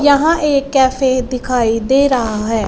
यहां एक कैफे दिखाई दे रहा हैं।